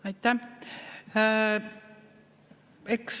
Aitäh!